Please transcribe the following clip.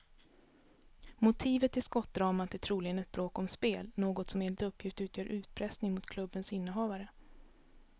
Motivet till skottdramat är troligen ett bråk om spel, något som enligt uppgift utgör utpressning mot klubbens innehavare.